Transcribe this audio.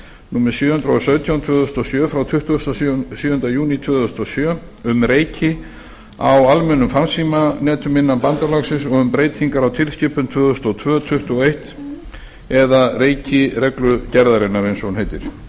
númer sjö hundruð og sautján tvö þúsund og sjö frá tuttugasta og sjöunda júní tvö þúsund og sjö um reiki á almennum farsímanetum innan bandalagsins og um breytingar á tilskipun tvö þúsund og tvö tuttugu og eitt e b eða reikireglugerðarinnar eins og hún heitir